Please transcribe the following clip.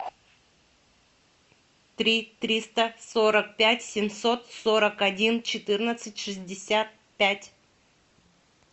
три триста сорок пять семьсот сорок один четырнадцать шестьдесят пять